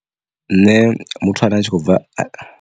Nṋe muthu ane a tshi khobva.